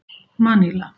Maníla